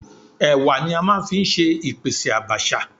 Ẹ̀wà ni a máa ń fi ṣe ìpèsè Àbàṣà.